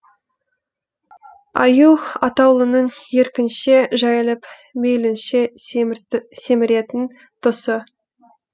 аю атаулының еркінше жайылып мейлінше семіретін тұсы